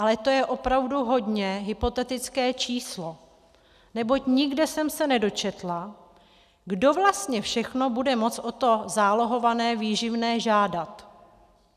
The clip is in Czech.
Ale to je opravdu hodně hypotetické číslo, neboť nikde jsem se nedočetla, kdo vlastně všechno bude moct o to zálohované výživné žádat.